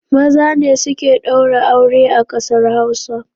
Maza ne suke ɗaura aure a ƙasar Hausa